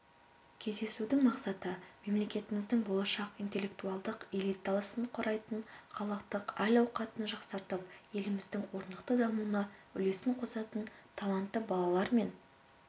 кездесудің мақсаты мемлекетіміздің болашақ интеллектуалдық элитасынқұрайтын халықтың әл-әуқатын жақсартып еліміздің орнықты дамуына үлесінқосатын талантты балалар мен